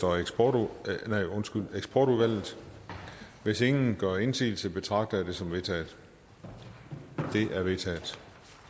og eksportudvalget hvis ingen gør indsigelse betragter jeg det som vedtaget det er vedtaget